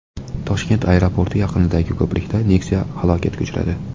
Toshkent aeroporti yaqinidagi ko‘prikda Nexia halokatga uchradi .